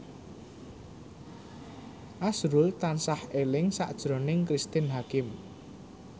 azrul tansah eling sakjroning Cristine Hakim